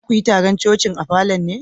Za ku yi taron coci'n a falon ne?